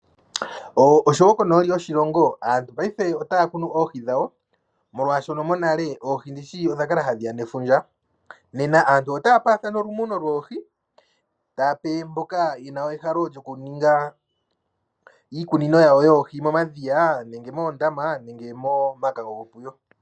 Moshilongo paife aantu oyaya khnu oohi dhawo, molwa shoka mo nale oohi ndishi odha kala ha dhiya ne fundja? Nena aantu otaya paathana olu muno lwoohi, ta yape mboka yena ehalo lyo kuninga iikunino yawo yoohi momadhiya , nenge moondama nenge moma kango go puyo.